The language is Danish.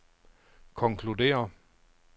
konkluderer